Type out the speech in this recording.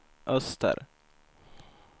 öster